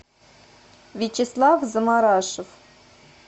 вячеслав заморашев